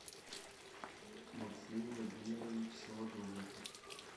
максим владимирович солодовников